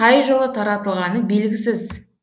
қай жылы таратылғаны белгісіз